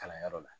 Kalanyɔrɔ la